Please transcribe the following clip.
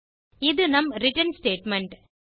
இது நம் return statement